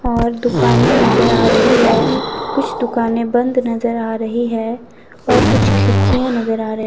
और दुकाने नजर आ रही है कुछ दुकानें बंद नजर आ रही है और कुछ खिड़कियां नजर आ रही --